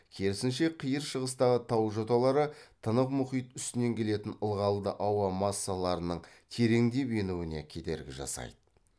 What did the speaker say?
керісінше қиыр шығыстағы тау жоталары тынық мұхит үстінен келетін ылғалды ауа массаларының тереңдеп енуіне кедергі жасайды